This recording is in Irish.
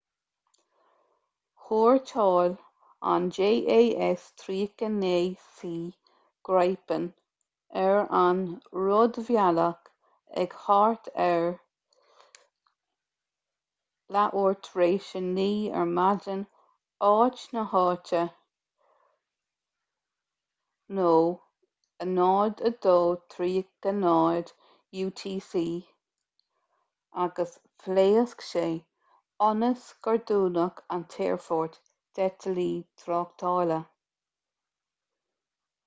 thuairteáil an jas 39c gripen ar an rúidbhealach ag thart ar 9:30 am áit na háite 0230 utc agus phléasc sé ionas gur dúnadh an t-aerfort d'eitiltí tráchtála